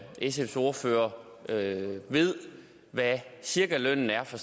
sfs ordfører ved hvad cirkalønnen er for